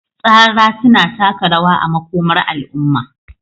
tsara suna taka rawa a makomar al'umma.